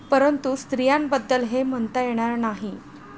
परंतु स्त्रियांबद्दल हे म्हणता येणार नाही.